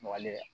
Waleya